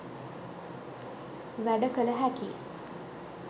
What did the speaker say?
වැඩ කළ හැකියි.